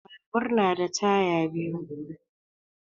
Babur yana da taya biyu ne.